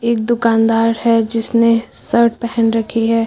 एक दुकानदार है जिसने शर्ट पहन रखी है।